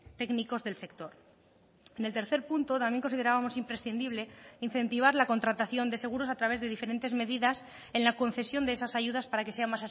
técnicos del sector en el tercer punto también considerábamos imprescindible incentivar la contratación de seguros a través de diferentes medidas en la concesión de esas ayudas para que sea